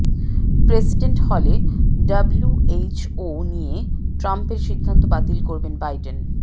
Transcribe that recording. president হলে WHO নিয়ে ট্রাম্পের সিদ্ধান্ত বাতিল করবেন বাইডেন